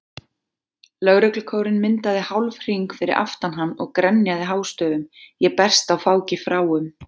Lögreglukórinn myndaði hálfhring fyrir aftan hann og grenjaði hástöfum Ég berst á fáki fráum.